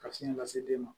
Ka fiɲɛ lase den ma